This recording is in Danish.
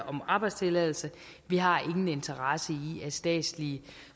om arbejdstilladelse vi har ingen interesse i at statslige